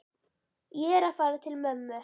Ég er að fara til mömmu.